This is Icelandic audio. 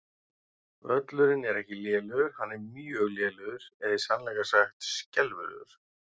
Völlurinn er ekki lélegur, hann er mjög lélegur eða í sannleika sagt skelfilegur.